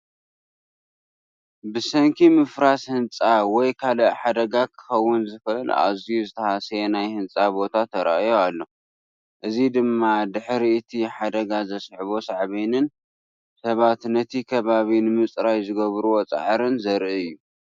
ብሰንኪ ምፍራስ ህንጻ ወይ ካልእ ሓደጋ ክኸውን ዝኽእል ኣዝዩ ዝተሃስየ ናይ ህንጻ ቦታ ተራእዩ ኣሎ፡ እዚ ድማ ድሕሪ እቲ ሓደጋ ዘስዓቦ ሳዕቤንን ሰባት ነቲ ከባቢ ንምጽራይ ዝገበርዎ ጻዕርን ዘርኢ እዩ።